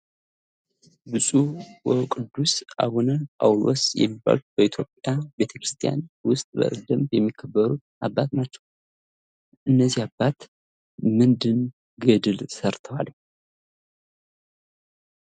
ብጹዕ ወቅዱስ አቡነ ጳውሎስ የሚባሉት በኢትዮጵያ ቤተክርስቲያን ውስጥ በደንብ የሚከበሩ አባት ናቸው። እኒህ አባት ምን ገድል ሰርተዋል?